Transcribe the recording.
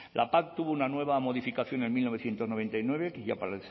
la pac tuvo una nueva modificación en mil novecientos noventa y nueve que ya